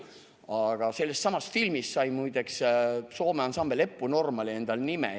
Aga selle sama filmi järgi sai muideks Soome ansambel Eppu Normaali endale nime.